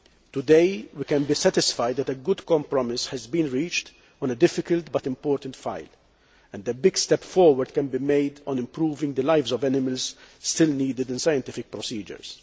Today, we can be satisfied that a good compromise has been reached on a difficult but important file, and that a big step forward can be made on improving the lives of animals still needed in scientific procedures.